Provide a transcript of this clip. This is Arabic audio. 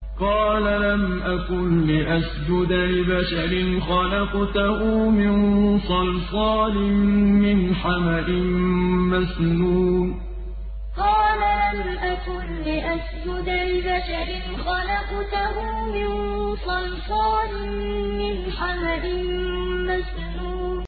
قَالَ لَمْ أَكُن لِّأَسْجُدَ لِبَشَرٍ خَلَقْتَهُ مِن صَلْصَالٍ مِّنْ حَمَإٍ مَّسْنُونٍ قَالَ لَمْ أَكُن لِّأَسْجُدَ لِبَشَرٍ خَلَقْتَهُ مِن صَلْصَالٍ مِّنْ حَمَإٍ مَّسْنُونٍ